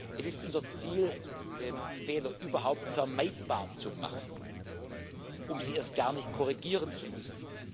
Es ist unser Ziel, Fehler überhaupt vermeidbar zu machen, um sie erst gar nicht korrigieren zu müssen.